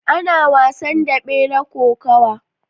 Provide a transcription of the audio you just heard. Ana wasan daɓe na Kokawa.